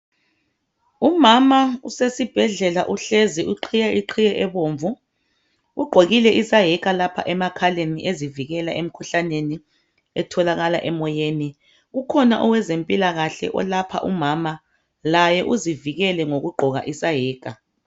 Umama usesibhedlela uhlezi iqhiye iqhiye ebomvu. Ugqokile isayeka lapha emakhaleni ezivikela emkhuhlaneni etholakala emoyeni. Kukhona owezempilakahle olapha umama laye uzivikele ngokugqoka isayeka